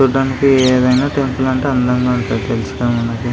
చూడ్డానికి ఏదైనా టెంపుల్ అంటే అందంగా ఉంటుంది తెలుసుగా నాకు.